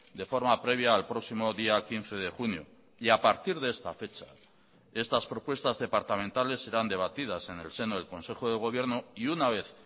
de forma previa al próximo día quince de junio y a partir de esta fecha estas propuestas departamentales serán debatidas en el seno del consejo de gobierno y una vez